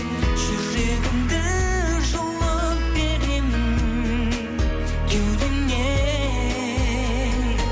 жүрегімді жұлып беремін кеудемнен